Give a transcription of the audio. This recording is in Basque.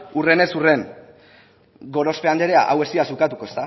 hurrenez hurren gorospe andrea hau ez didazu ukatuko